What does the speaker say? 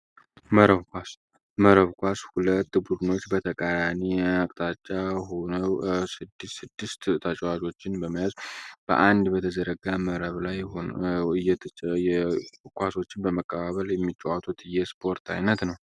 መረብ ኳስ መረብ ኳስ ሁለት ቡድኖች በተቃራኒ አቅጣጫ ሆኖ ስድስት ስድስት ተጫዋቾችን በመያዝ የተጫወቱ በተዘረጋ መረብ ላይ እየተጫወቱ ኳስ ኳስን በመቀባበል የሚጫወቱት የስፖርት አይነት ነው።